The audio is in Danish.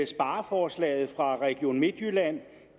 spareforslaget fra region midtjylland